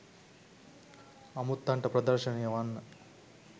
අමුත්තන්ට ප්‍රදර්ශනය වන්න